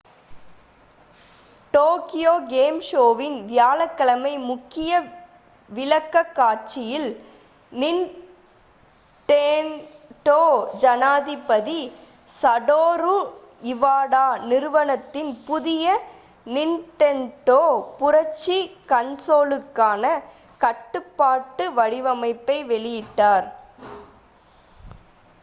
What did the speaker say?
Tokyo game ஷோவின் வியாழக்கிழமை முக்கிய விளக்கக்காட்சியில் நிண்டெண்டோ ஜனாதிபதி சடோரு இவாடா நிறுவனத்தின் புதிய நிண்டெண்டோ புரட்சி கன்சோலுக்கான கட்டுப்பாட்டு வடிவமைப்பை வெளியிட்டார்